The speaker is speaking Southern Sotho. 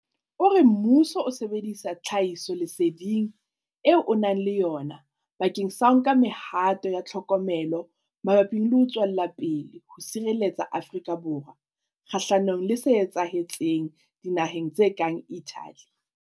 O re mmuso o sebedisa tlhahisoleseding eo o nang le yona bakeng sa ho nka mehato ya tlhokomelo mabapi le ho tswella ho sireletsa Afrika Borwa kgahlanong le se etsahetseng dinaheng tse kang Italy.